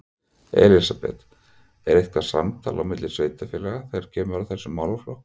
Elísabet: Er eitthvað samtal á milli sveitarfélaga þegar kemur að þessum málaflokk?